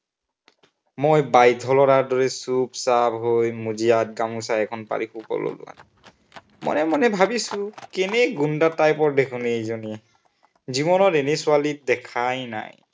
মই বাধ্য় লৰাৰ দৰে চুপচাপ হৈ মজিয়াত গামোচা এখন পাৰি শুৱ ললো। মনে মনে ভাবিছো, কেনে গুণ্ডা type ৰ দেখোন এইজনী। জীৱনত এনে ছোৱালী দেখাই নাই।